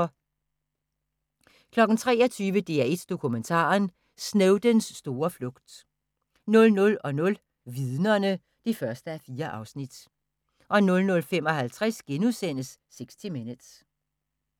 23:00: DR1 Dokumentaren: Snowdens store flugt 00:00: Vidnerne (1:4) 00:55: 60 Minutes *